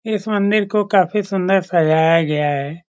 इस मंदिर को काफी सुंदर सजाया गया है।